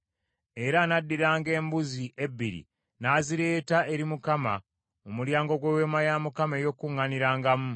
Era anaddiranga embuzi ebbiri n’azireeta eri Mukama mu mulyango gw’Eweema ey’Okukuŋŋaanirangamu.